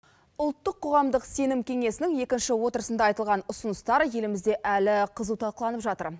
ұлттық қоғамдық сенім кеңесінің екінші отырысында айтылған ұсыныстар елімізде әлі қызу талқыланып жатыр